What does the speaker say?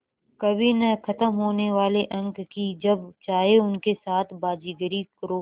कभी न ख़त्म होने वाले अंक कि जब चाहे उनके साथ बाज़ीगरी करो